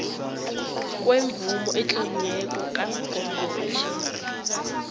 kwemvumo etloliweko kangqongqotjhe